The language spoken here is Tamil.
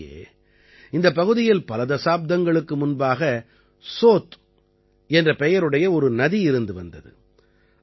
உள்ளபடியே இந்தப் பகுதியில் பல தசாப்தங்களுக்கு முன்பாக சோத் என்ற பெயருடைய ஒரு நதி இருந்து வந்தது